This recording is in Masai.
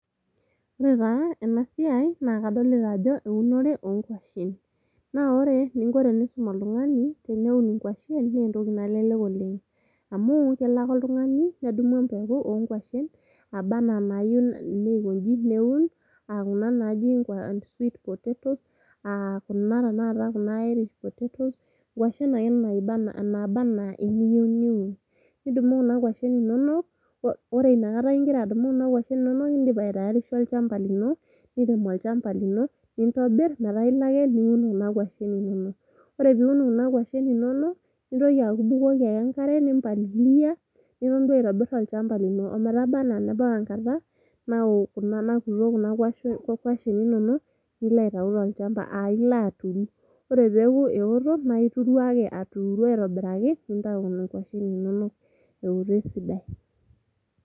Ore taa ena siai naa kadolita ajo eunore oonkwashen . Naa ore eninko tenisum oltungani teneun inkwashen naa entoki nalelek oleng amu kelo ake oltungani nedumu empeku oonkwashen naba anaa inayieu nieun aa kuna naji sweet potatoes , aa kuna tenakata , kuna iris potatoes , nkwashen ake naba anaa eniyieu niun. Nidumu kuna kwashen inonok , ore inakata ingira adumu kuna kwashen inonok ,indipa aitaarisha olchamba lino ,nirem olchamba lino ,nintobir metaa iloake niun kuna kwashen inonok. Ore piun kuna kwashen inonok , nintoki aku ibukoki ake enkare , nimpalilia ,niton duoo aitobir olchamba lino, ometaba anaa nebau enkata nao kuna kwashen inonok nilo aitayu tolchamba , aa ilo aturu. Ore peaku eotok ,ituru ake, aturu aitobiraki , nintayu kuna kwashen inonok ewotok esidai.